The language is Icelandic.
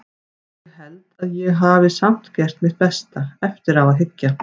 Ég held að ég hafi samt gert mitt besta, eftir á að hyggja.